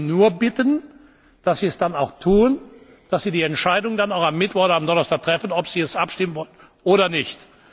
machen. Ich möchte Sie nur bitten, dass Sie es dann auch tun, dass Sie die Entscheidung dann auch am Mittwoch oder Donnerstag treffen, ob Sie darüber abstimmen wollen oder